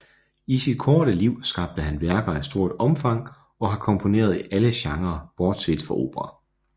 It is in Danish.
I sit korte liv skabte han værker af stort omfang og har komponeret i alle genrer bortset fra opera